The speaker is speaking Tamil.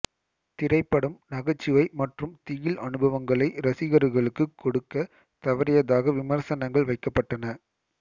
திரைப்படம் நகைச்சுவை மற்றும் திகில் அனுபவ்களை ரசிகர்களுக்கு கொடுக்க தவறியதாக விமர்சனங்கள் வைக்கப்பட்டன